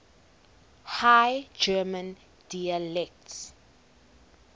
high german dialects